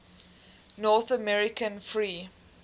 north american free